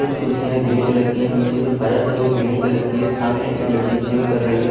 कुछ कुर्सिया grey colour है निचे जो फर्स है वो ग्रीन कलर की है सामने एक लडकी जिम कर रही है।